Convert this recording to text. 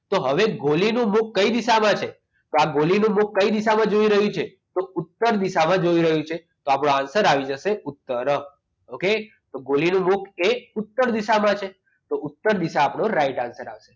તો હવે ગોલીનું મુખ કઈ દિશામાં છે તો આ ગોલીનું મુખ કઈ દિશામાં જઈ રહ્યું છે તો ઉત્તર દિશામાં જઈ રહ્યું છે તો આપણો answer આવી જશે ઉત્તર okay ગોલીનું મુખ ઉત્તર દિશામાં છે તો ઉત્તર દિશા આપણો right answer આવશે